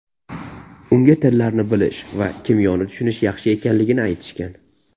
Unga tillarni bilish va kimyoni tushunish yaxshi ekanligini aytishgan.